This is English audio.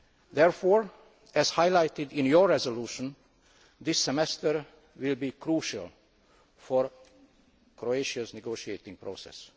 Therefore, as highlighted in your resolution, this semester will be crucial for Croatia's negotiating process.